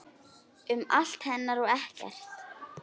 Um allt hennar og ekkert.